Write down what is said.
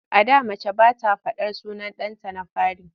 A da mace ba ta faɗar sunan ɗanta na fari.